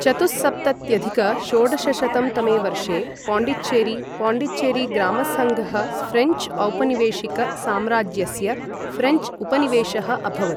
चतुःसप्तत्यधिक षोडशशतं तमे वर्षे पाण्डिचेरी पाण्डिचेरी ग्रामसङ्घः फ्रेञ्च् औपनिवेशिक साम्राज्यस्य फ्रेञ्च् उपनिवेशः अभवत्।